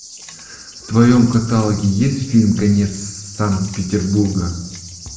в твоем каталоге есть фильм конец санкт петербурга